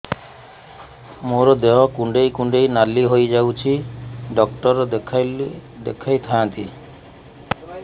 ମୋର ଦେହ କୁଣ୍ଡେଇ କୁଣ୍ଡେଇ ନାଲି ହୋଇଯାଉଛି ଡକ୍ଟର ଦେଖାଇ ଥାଆନ୍ତି